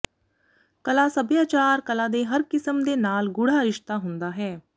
ਕਲਾ ਸਭਿਆਚਾਰ ਕਲਾ ਦੇ ਹਰ ਕਿਸਮ ਦੇ ਨਾਲ ਗੂੜ੍ਹਾ ਰਿਸ਼ਤਾ ਹੁੰਦਾ ਹੈ